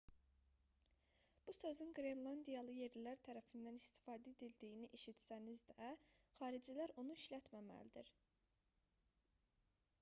bu sözün qrenlandiyalı yerlilər tərəfindən istifadə edildiyini eşitsəniz də xaricilər onu işlətməməlidir